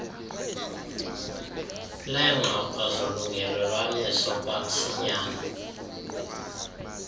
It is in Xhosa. leengxoxo zolungelelwaniso kwamsinyane